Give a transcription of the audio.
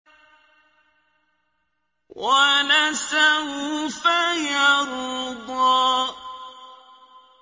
وَلَسَوْفَ يَرْضَىٰ